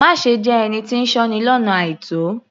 Má ṣe jẹ́ ẹni tí ń sọ́ni lọ́nà àìtó